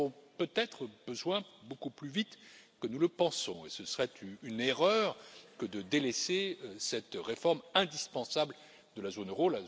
Nous en aurons peut être besoin beaucoup plus vite que nous le pensons, et ce serait une erreur que de délaisser cette réforme indispensable de la zone euro.